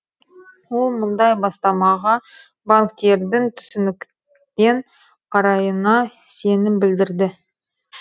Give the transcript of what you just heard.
ол мұндай бастамаға банктердің түсінікпен қарайына сенім білдірді